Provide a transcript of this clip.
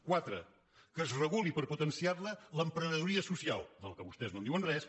quatre que es reguli per potenciar la l’emprenedoria social de la qual vostès no diuen res